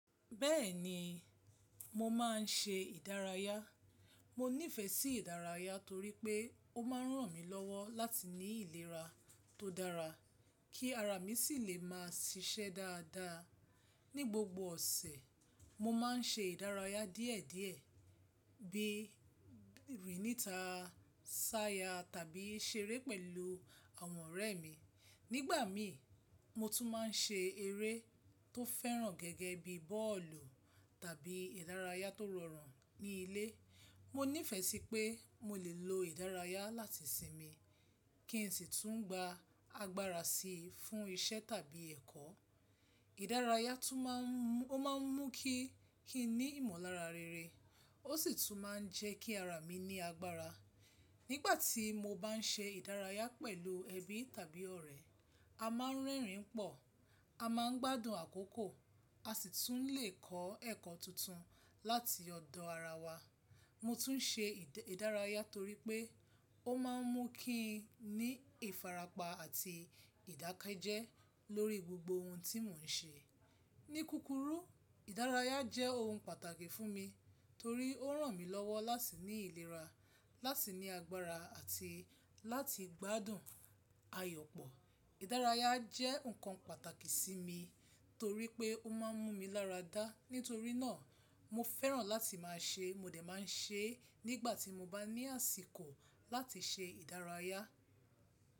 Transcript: Bẹ́ẹ̀ni, mo máa ń ṣe ìdárayá. Mo nífẹ̀ẹ́ sí ìdárayá torí pé ó máa ń ràn mí lọ́wọ́ láti ní ìlera tó dára, kí ara mi sì lè máa ṣiṣẹ́ dáadáa. Ni gbogbo ọ̀sẹ̀, mo máa ń ṣe ìdárayá díẹ̀ díẹ̀, bí i rìníta, sáyà tàbí ṣeré pẹ̀lú àwọn ọ̀rẹ́ mi. Nígbà mi, mo tún máa ń ṣe eré tó fẹ́ràn gẹ́gẹ́ bí bọ́ọ̀lù tàbí ìdárayá tó rọrùn ní ilé. Mo nífẹ̀ẹ́ sí pé mo lè lo ìdárayá láti sinmi kí n sì tún gba agbára si fún iṣẹ́ tàbí ẹ̀kọ́. Ìdárayá tún má ń, ó máa ń mú kí kí n ní ìmọ̀lára rere, ó sì tún máa ń jẹ́ kí ara mi ní agbára. Nígbà tí mo bá ń ṣe ìdárayá pẹ̀lú ẹbí tàbí ọ̀rẹ́, a máa ń rẹ́rìn pọ̀, a máa ń gbádùn àkókò, a sì tún le kọ́ ẹ̀kọ́ tuntun láti ọ̀dọ̀ ara wa. Mo tún ṣe ìdà, ìdárayá torí pé ó máa ń mú kí n ní ìfarapa àti ìdákẹ́jẹ́ lórí gbogbo ohun tí mò ń ṣe. Ni kúkúrú, ìdárayá jẹ́ ohun pàtàkì fún mi torí ó ràn mí lọ́wọ́ láti ní ìlera, láti ní agbára àti láti gbádùn ayọ̀ pọ̀. Ìdárayá jẹ́ nǹkan pàtàkì sí mi torí pé ó máa ń mú mi láradá. Nítorí náà, mo fẹ́ràn láti máa ṣe, mo dẹ̀ máa ń ṣe é nígbà tí mo bá ní àsìkò láti ṣe ìdárayá.